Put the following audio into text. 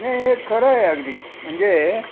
नाही हे खर आहे अगदी म्हणजे